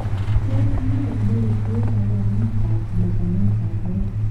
Tos nee neibu kabwanetab magatetab moet?